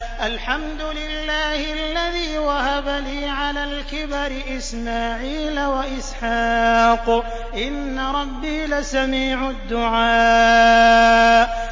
الْحَمْدُ لِلَّهِ الَّذِي وَهَبَ لِي عَلَى الْكِبَرِ إِسْمَاعِيلَ وَإِسْحَاقَ ۚ إِنَّ رَبِّي لَسَمِيعُ الدُّعَاءِ